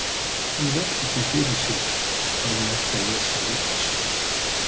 Hún velti því fyrir sér hvað hún ætti að lesa úr þessu.